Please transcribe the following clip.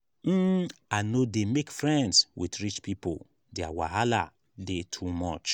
um i no dey make friends wit rich pipo their wahala dey too much.